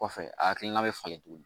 Kɔfɛ a hakilina bɛ falen tuguni